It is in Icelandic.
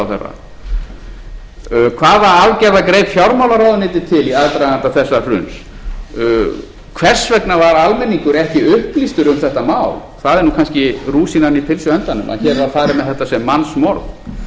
hvaða aðgerða greip fjármálaráðuneytið til í aðdraganda þessa hruns hvers vegna var almenningur ekki upplýstur um þetta mál það er kannski rúsínan í pylsuendanum að hér var farið með þetta sem mannsmorð hér er risavaxinn vandi sem stjórnsýslan